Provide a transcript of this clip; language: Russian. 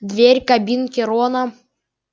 дверь кабинки рона